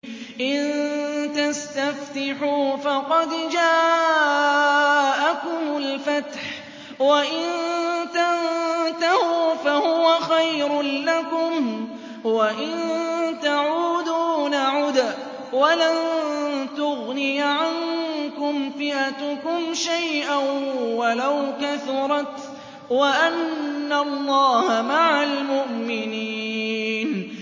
إِن تَسْتَفْتِحُوا فَقَدْ جَاءَكُمُ الْفَتْحُ ۖ وَإِن تَنتَهُوا فَهُوَ خَيْرٌ لَّكُمْ ۖ وَإِن تَعُودُوا نَعُدْ وَلَن تُغْنِيَ عَنكُمْ فِئَتُكُمْ شَيْئًا وَلَوْ كَثُرَتْ وَأَنَّ اللَّهَ مَعَ الْمُؤْمِنِينَ